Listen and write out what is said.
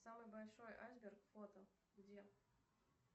самый большой айсберг фото где